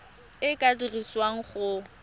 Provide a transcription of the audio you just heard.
e e ka dirisiwang go